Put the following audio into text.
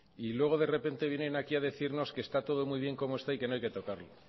y luego de repente vienen aquí a decirnos que está todo muy bien como está y que no hay que tocarlo